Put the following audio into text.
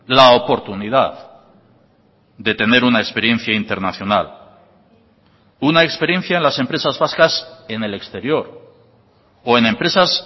la oportunidad de tener una experiencia internacional una experiencia en las empresas vascas en el exterior o en empresas